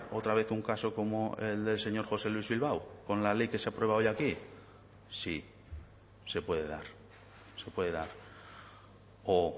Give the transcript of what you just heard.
otra vez un caso como el del señor josé luis bilbao con la ley que se aprueba hoy aquí sí se puede dar se puede dar o